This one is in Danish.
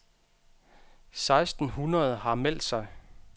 Seksten hundrede har meldt sig.